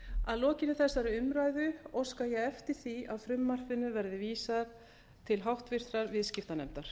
að lokinni þessari umræðu óska ég eftir því að frumvarpinu verði vísað til háttvirtrar viðskiptanefndar